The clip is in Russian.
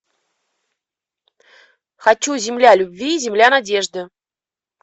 хочу земля любви земля надежды